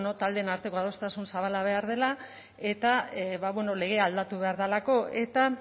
taldeen arteko adostasun zabala behar dela eta legea aldatu behar delako eta